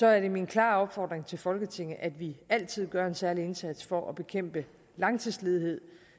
er det min klare opfordring til folketinget at vi altid gør en særlig indsats for at bekæmpe langtidsledighed